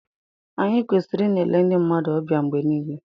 Anyị kwesịrị ịna-ele ndị mmadụ ọbịa mgbe niile